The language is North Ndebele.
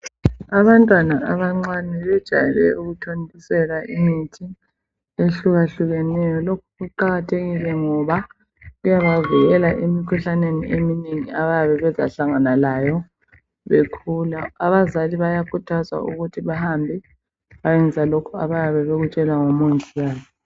Abantwana abancane bejayele ukuthontiselwa imithi ehlukahlukeneyo lokhu kuqakathekile ngoba kuyabavikela emikhuhlaneni abayabe bezahlangana layo bekhula abazali bayakhuthazwa ukuthi bahambe bayeyenza lokho abakutshelwa ngumongikazi.